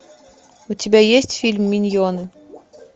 у тебя есть фильм миньоны